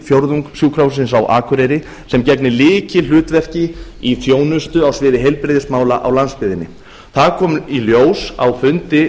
fjórðungssjúkrahússins á akureyri sem gegnir lykilhlutverki í þjónustu á sviði heilbrigðismála á landsbyggðinni það kom í ljós á fundi